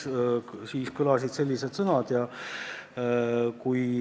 Kas te töötukassa käest küsisite ja kui küsisite, siis mis vastuse te saite?